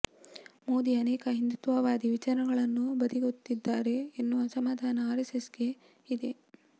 ಮೋದಿ ಅನೇಕ ಹಿಂದುತ್ವವಾದಿ ವಿಚಾರಗಳನ್ನು ಬದಿಗೊತ್ತಿದ್ದಾರೆ ಎನ್ನುವ ಅಸಮಾಧಾನ ಆರ್ಎಸ್ಎಸ್ಗೆ ಇದೆ